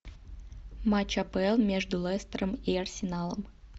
матч апл между лестером и арсеналом